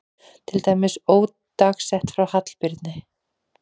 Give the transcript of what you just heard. Til dæmis ódagsett frá Hallbirni